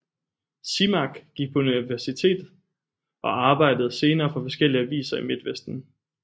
Simak gik på universitet og arbejdede senere for forskellige aviser i Midtvesten